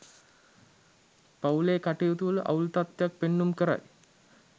පවුලේ කටයුතුවල අවුල් තත්ත්වයක් පෙන්නුම් කරයි.